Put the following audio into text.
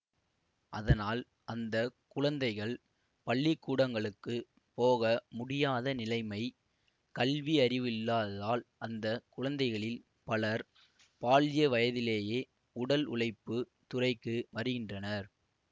அதனால் அந்த குழந்தைகள் பள்ளிக்கூடங்களுக்குப் போக முடியாத நிலைமை கல்வி அறிவு இல்லாததால் அந்த குழந்தைகளில் பலர் பால்ய வயதிலேயே உடல் உழைப்புத் துறைக்கு வருகின்றனர்